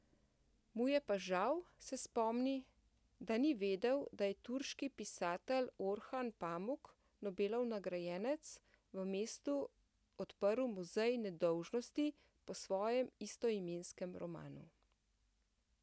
Mu je pa žal, se spomni, da ni vedel, da je turški pisatelj Orhan Pamuk, Nobelov nagrajenec, v mestu odprl Muzej nedolžnosti po svojem istoimenskem romanu.